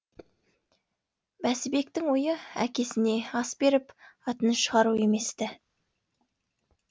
бәсібектің ойы әкесіне ас беріп атын шығару емес ті